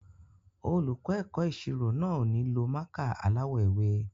Olùkọ́ ẹ̀kọ́ ìṣirò náà ò ní lo mákà aláwọ̀ ewé.